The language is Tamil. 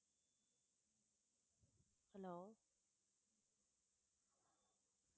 hello